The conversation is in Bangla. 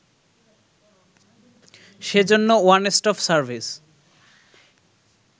সে জন্য ওয়ানস্টপ সার্ভিস